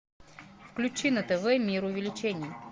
включи на тв мир увеличений